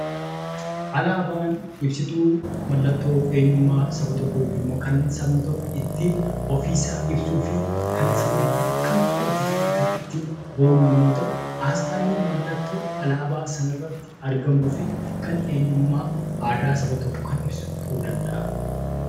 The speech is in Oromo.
Alaabaan ibsituu mallattoo eenyummaa saba tokkoo yookiin kan sabni tokko ofiisaa ibsuu fi kan sabni tokko kan kooti jedheen kan ittiin boonu yommuu ta'u, asxaan immoo mallattoo alaabaa sanarratti argamuu fi kan eenyummaa aadaa saba tokkoo kan ibsu ta'uu danda'a.